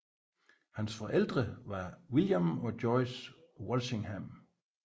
Hans forældre var William og Joyce Walsingham